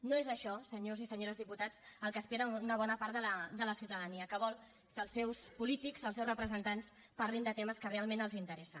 no és això senyors i senyores diputats el que espera una bona part de la ciutadania que vol que els seus polítics els seus representants parlin de temes que realment els interessen